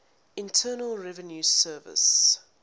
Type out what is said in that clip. internal revenue service